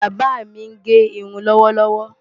Bàbá mi ń gẹ irun lọ́wọ́lọ́wọ́.